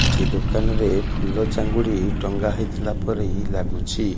ଏଠି ଦୋକାନରେ ଫୁଲ ଚାଙ୍ଗୁଡ଼ି ଟଙ୍ଗା ହେଇଥିଲାପରି ଲାଗୁଛି।